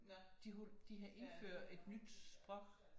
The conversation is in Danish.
De havde indført et nyt sprog